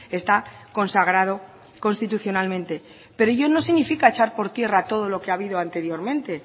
está consagrado constitucionalmente pero ello no significa echar por tierra todo lo que ha habido anteriormente